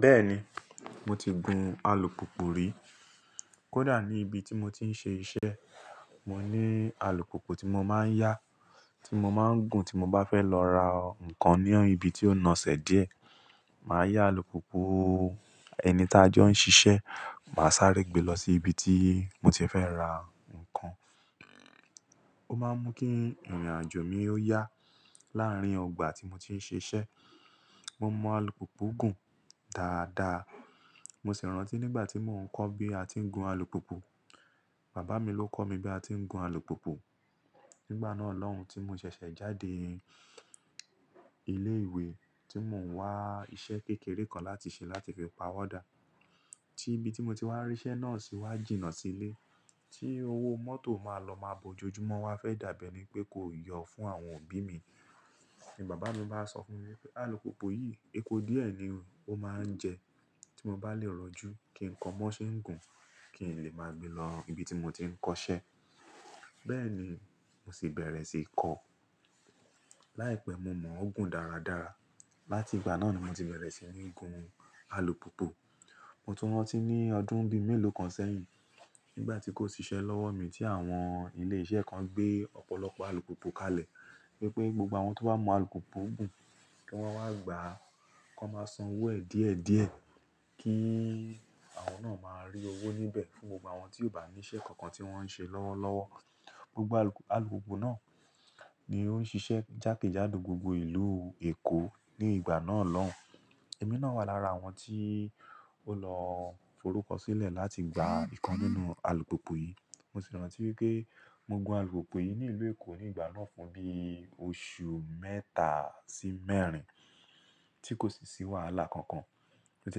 Bẹ́ẹ̀ni, mo ti gun alùpùpù rí. Kódà ní ibi tí mo ti ń ṣe iṣẹ́, mo ní alùpùpù tí mo máa ń yá, tí mo máa ń gùn tí mo bá fẹ́ lọ ra nǹkan ní ibi tí ó nóṣẹ̀ díẹ̀. Màá yá alùpùpù ẹni tá jọ ń ṣiṣẹ́, màá sáré gbe lọ sí ibi tí mo ti fẹ́ ra nǹkan. Ó máa ń mú kí ìrìnàjò mi ó yá láàrín ọgbà tí mo ti ń ṣe iṣẹ́. Mo mọ alùpùpù gùn dáadaa. Mo sì rántí nígbà tí mò ń kọ́ bí a ti ń gun alùpùpù, bàbá mi ló kọ́ mi bí a ti ń gun alùpùpù. Nígbà náà lọ́hùn tí mo ṣẹ̀ṣẹ̀ jáde ilé ìwé tí mò ń wá iṣẹ́ kékeré kan láti ṣe láti fi pa wọ́dà. Tí ibi tí mo ti wá rí iṣẹ́ náà sì wá jìnnà sílé. Tí owó mọ́tò máa lọ máa bo ojojúmọ́ wa fẹ́ dàbẹ ní pé kò yọ̀ fún àwọn òbí mi, ni bàbá mi máa sọ fún mi pé alùpùpù yìí epo díẹ̀ ni ó máa ń jẹ tí mo bá lè rọ́jú kí nko mọ́ ṣé ń gùn kín lè máa gbe lọ ibi tí mo ti ń kọṣẹ́. Bẹ́ẹ̀ni, mo sì bẹ̀rẹ̀ sí í kọ. Láìpẹ́, mo mọ̀ ó gùn dáradára. Láti ìgbà náà ni mo ti bẹ̀rẹ̀ sí ní gun alùpùpù. Mo tún rántí ní ọdún bí mẹ́lòó kan sẹ́yìn, nígbà tí kò ṣiṣẹ́ lọ́wọ́ mi tí àwọn ilé iṣẹ́ kan gbé ọ̀pọ̀lọpọ̀ alùpùpù kalẹ̀ wípé gbogbo àwọn tó bá mọ alùpùpù gùn kí wọ́n wá gbà kó máa san owó ẹ̀ díẹ̀díẹ̀ kí àwọn náà máa rí owó níbẹ̀ fún gbogbo àwọn tí ò bá ní iṣẹ́ kankan tí wọ́n ń ṣe lọ́wọ́lọ́wọ́. Gbogbo alùpùpù náà ni ó ń ṣiṣẹ́ jákèjádò gbogbo ìlú Èkó ní ìgbà náà lọ́hùn. Èmi náà wà lára àwọn tí ó lọ forúkọ sílẹ̀ láti gba ìkan nínú alùpùpù yìí. Mo sì rántí wípé mo gun alùpùpù yìí ní ìlú Èkó ní ìgbà náà fún bí oṣù mẹ́ta sí mẹ́rin tí kò sì sí wàhálà kankan. Ó ti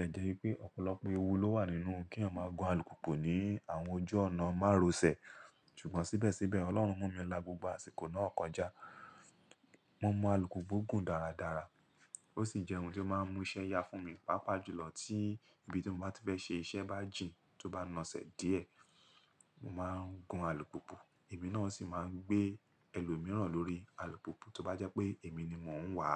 lè jẹ́ wípé ọ̀pọ̀lọpọ̀ ewu ló wà nínú kí eyan ma gun alùpùpù ní àwọn ojú ọ̀nà márosẹ̀. Sugbon síbẹ̀síbẹ̀ Ọlọ́run mú mi lá gbogbo àsìkò náà kọjá. Mo mọ alùpùpù gùn dáradára. Ó sì jẹ́ ohun tó máa ń mú iṣẹ́ yá fún mi, pàápàá jùlọ tí ibi tí mo bá ti fẹ́ ṣe iṣẹ́ bá jìn tó bá nóṣẹ̀ díẹ̀, mo máa ń gun alùpùpù. Èmi náà sì máa ń gbé ẹlòmíràn lórí alùpùpù tó bá jẹ́ pé èmi ni mò ń wà.